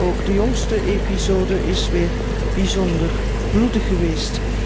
Ook de jongste episode is weer bijzonder bloedig geweest.